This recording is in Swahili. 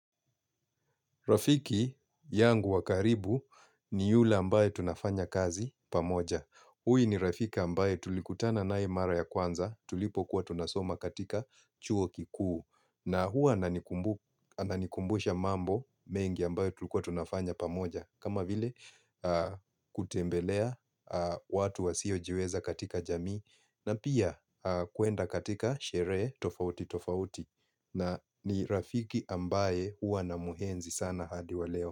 Rafiki yangu wakaribu ni yule ambaye tunafanya kazi pamoja. Huyu Rafiki ambaye tulikutana nae mara ya kwanza tulipo kuwa tunasoma katika chuo kikuu. Na huwa anikumbusha mambo mengi ambaye tulikuwa tunafanya pamoja. Kama vile kutembelea watu wa siyo jiweza katika jamii na pia kuenda katika shere tofauti tofauti. Na ni rafiki ambaye uwa na muhenzi sana hadi wa leo.